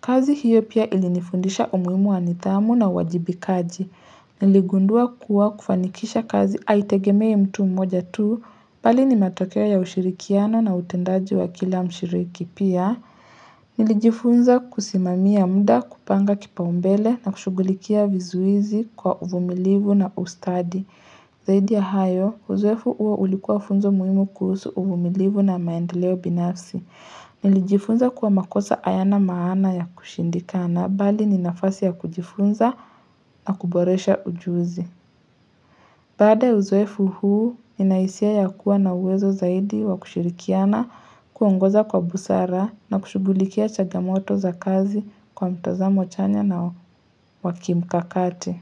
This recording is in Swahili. Kazi hiyo pia ilinifundisha umuhimu wanithamu na uwajibikaji. Niligundua kuwa kufanikisha kazi haitegemei mtu mmoja tu, bali ni matokeo ya ushirikiano na utendaji wa kila mshiriki pia. Nilijifunza kusimamia mda kupanga kipa umbele na kushughulikia vizuizi kwa uvumilivu na ustadi. Zaidi ya hayo, uzoefu uo ulikuwa funzo muhimu kuhusu uvumilivu na maendeleo binafsi. Nilijifunza kuwa makosa ayana maana ya kushindikana bali ninafasi ya kujifunza na kuboresha ujuzi. Baada uzoefu huu, nina hisia ya kuwa na uwezo zaidi wa kushirikiana kuongoza kwa busara na kushughulikia chagamoto za kazi kwa mtazamo chanya na wakimkakati.